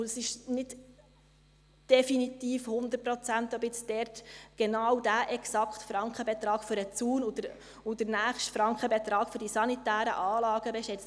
Und es ist nicht definitiv, nicht zu 100 Prozent sicher, ob jetzt genau dort exakt der Frankenbetrag für den Zaun und der nächste Frankenbetrag für die sanitären Anlagen steht.